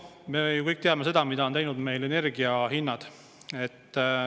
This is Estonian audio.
Me ju kõik teame, mida on meil teinud energia hinnad.